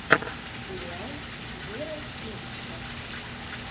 сериал вера величко